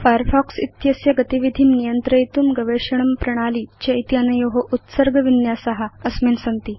Firefox इत्यस्य गतिविधिं नियन्त्रयितुं गवेषणं प्रणाली चेत्यनयो उत्सर्ग विन्यासा अस्मिन् सन्ति